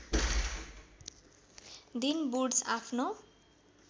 दिन वुड्स आफ्नो